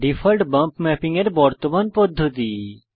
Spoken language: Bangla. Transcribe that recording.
ডিফল্ট বম্প ম্যাপিং এর বর্তমান পদ্ধতি